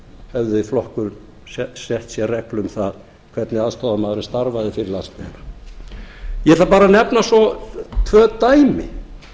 hefði flokkur sett sér reglu um það hvernig aðstoðarmaðurinn starfaði fyrir landsbyggðina ég ætla bara að nefna svo tvö dæmi